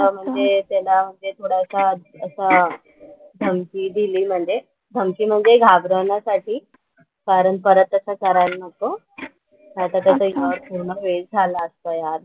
धमकी म्हणजे घाबरवण्यासाठी. कारण परत तसं करायला नको. नाहीतर त्याचं एक वर्ष पूर्ण वेस्ट झाला असता यार.